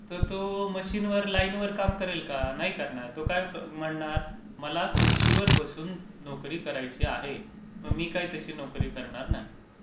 तर तो मशीनवर, लाइनवर काम करेल का? नाही करणार, तो काय म्हणणार, मला खुर्चीवर बसून नोकरी करायची आहे. मग मी काय तशी नोकरी करणार नाही.